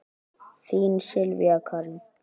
Þín Sylvía Karen.